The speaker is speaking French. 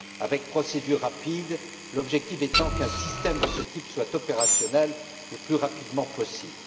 avec procédure rapide, l'objectif étant qu'un système de ce type soit opérationnel le plus rapidement possible.